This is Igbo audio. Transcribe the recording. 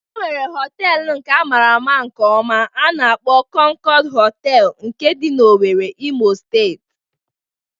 E nwere họteelụ a mara nke ọma a na-akpo "Konkod Hotel" nke dị n'Owerri, Imo Steeti.